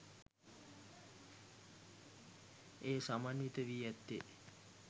එය සමන්විත වී ඇත්තේ